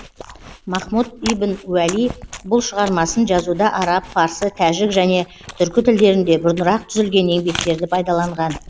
махмұд ибн уәли бұл шығармасын жазуда араб парсы тәжік және түркі тілдерінде бұрынырақ түзілген еңбектерді пайдаланған